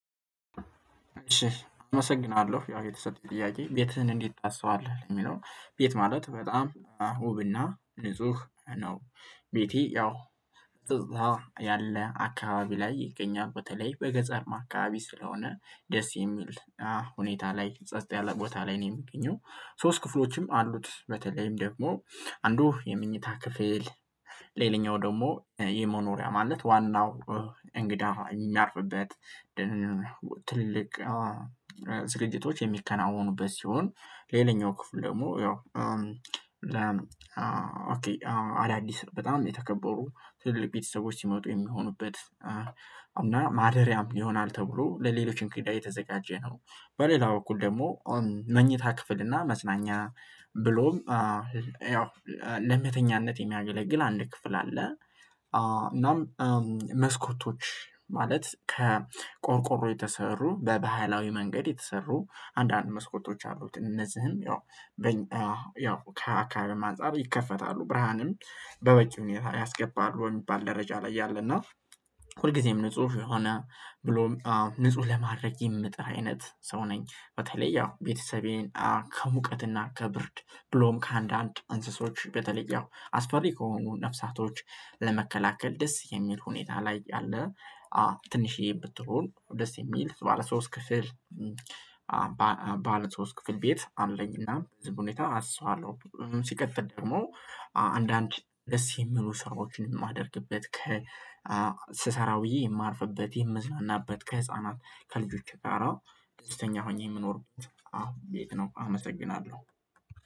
እሺ አመሰግናለሁ ያው የተሰጠኝ ጥያቄ ቤትህን እንዴት ታስውባለህ? የሚለው ቤት ማለት በጣም ዉብና ንጹህ ነው። ቤቴ ያው እዛ ያለ አካባቢ ላይ ይገኛል በተለይ በገጠር አካባቢ ስለሆነ ደስ የሚል ሁኔታ ላይ ጸጥ ያለ ቦታ ላይ ነው የሚገኘው። ሶስት ክፍሎችም አሉት በተለይም ደግሞ አንዱ የምኝታ ክፍል ሌላኛው ደግሞ የመኖሪያ ማለት ዋናው እንግዳ የሚያርፍበት ትልቅ ዝግጅቶች የሚከናወኑበት ሲሆን ሌላኛው ክፍል ደግሞ ያው አዳዲስ በጣም የተከበሩ ትልልቅ ቤተሰቦች ሲመጡ የሚሆኑበት ማደሪያም ይሆናል ተብሎ ለሌሎችም ጉዳይ የተዘጋጀ ነው። በሌላው በኩል ደግሞ መኝታ ክፍል እና መጽናኛ ብሎም ያው ለመተኛነት የሚያገለግል አንድ ክፍል አለ። እናም መስኮቶች ማለት ከቆርቆሮ የተሰሩ በባህላዊ መንገድ የተሰሩ አንዳንድ መስኮቶች አሉት እነዚህም ያው ከአካባቢው አንፃር ይከፈታሉ ብርሃንም በወጪ ሁኔታ ያስገባሉ የሚባል ደረጃ ላይ ያለና ሁልጊዜም ንጹህ የሆነ ብሎም ንጹህ ለማድረግ የምጥራ አይነት ሰው ነኝ። በተለይ ያው ቤተሰቤን ከሙቀትና ከብርድ ብሎም ከአንዳንድ እንስሶች በተለየው አስፈሪ ከሆኑ ነፍሳቶች ለመከላከል ደስ የሚል ሁኔታ ላይ አለ። ትንሽዬ ብትለውል ደስ የሚል ባለ ሶስት ክፍል ባለ ሶስት ክፍል ቤት አለኝ። እና ህዝብ ሁኔታ አሰዉባለሁ ሲከፍት ደግሞ አንዳንድ ደስ የሚሉ ሰራዎችን የማደርግበት ስሰራ ብዬ የማርፍበት የምዝናናበት ከህፃናት ከልጆቼ ጋራ ደስተኛ ሆኜ የምኖርበት አሁን ቤት ነው። አመሰግናለሁ